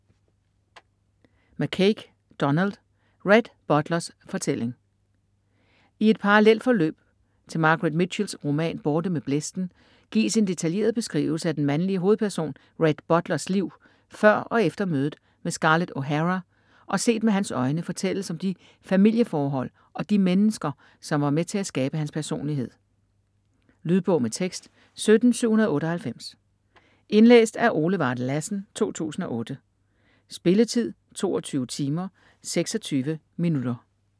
McCaig, Donald: Rhett Butlers fortælling I et parallelt forløb til Margaret Mitchell's roman "Borte med blæsten" gives en detaljeret beskrivelse af den mandlige hovedperson Rhett Butlers liv før og efter mødet med Scarlett O'Hara, og set med hans øjne fortælles om de familieforhold og de mennesker, som var med til at skabe hans personlighed. Lydbog med tekst 17798 Indlæst af Ole Varde Lassen, 2008. Spilletid: 22 timer, 26 minutter.